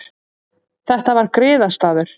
Þetta var griðastaður.